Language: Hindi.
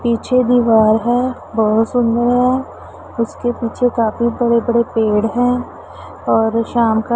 पीछे दीवार है बहोत सुंदर है उसके पीछे काफी बड़े बड़े पेड़ हैं और शाम का--